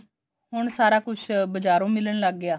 ਹੁਣ ਸਾਰਾ ਕੁੱਛ ਬਜਾਰੋਂ ਮਿਲਣ ਲੱਗ ਗਿਆ